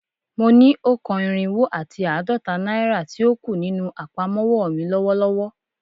Mo ni o kan irinwo ati aadọta naira ti o ku ninu apamọwọ mi lọwọlọwọ